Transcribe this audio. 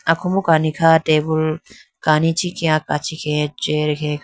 akombo kani kha tabool kani ichikhiaa kachi khege chair ge kha.